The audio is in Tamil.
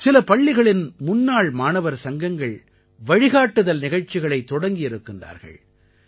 சில பள்ளிகளின் முன்னாள் மாணவர் சங்கங்கள் வழிகாட்டுதல் நிகழ்ச்சிகளை தொடங்கியிருக்கின்றார்கள்